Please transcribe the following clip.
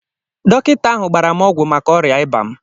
Dọkịta ahụ gbara m ọgwụ maka ọrịa ịba m